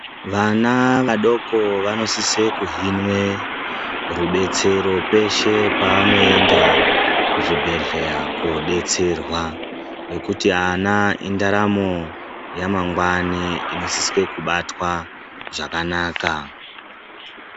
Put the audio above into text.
Vana vadoko vanosise kuhinwe rudetsero peshe peanoenda kuzvibhedhleya koodetserwa, ngekuti ana indaramo yamangwani inosiswe kubatwa zvakanaka.